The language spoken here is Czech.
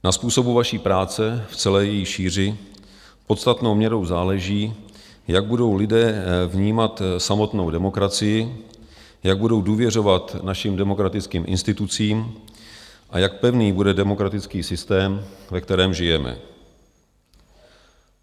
Na způsobu vaší práci v celé její šíři podstatnou měrou záleží, jak budou lidé vnímat samotnou demokracii, jak budou důvěřovat našim demokratickým institucím a jak pevný bude demokratický systém, ve kterém žijeme.